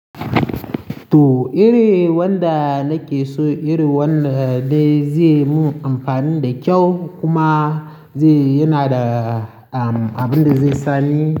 To iri wanda nake so, iri wanda dai zai mun amfani da kyau kuma zai-- yana da abin da zai sani.